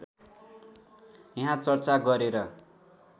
यहाँ चर्चा गरेर